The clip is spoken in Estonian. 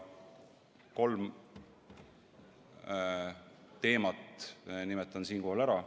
Nimetan siinkohal kolme teemat.